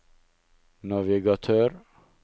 navigatør